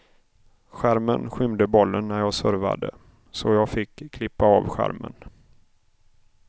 Skärmen skymde bollen när jag servade, så jag fick klippa av skärmen.